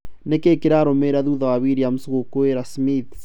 Nĩkĩĩ kĩrarũmĩrĩra thutha wa Williams gwĩkũĩra Smith?